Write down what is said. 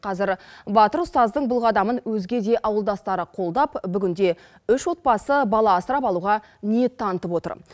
қазір батыр ұстаздың бұл қадамын өзге де ауылдастары қолдап бүгінде үш отбасы бала асырап алуға ниет танытып отыр